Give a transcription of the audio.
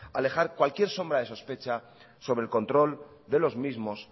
alejar cualquier sombra de sospecha sobre el control de los mismos